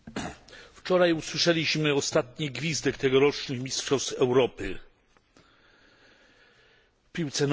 Wczoraj usłyszeliśmy ostatni gwizdek tegorocznych mistrzostw Europy w piłce nożnej.